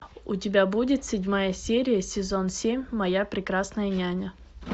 у тебя будет седьмая серия сезон семь моя прекрасная няня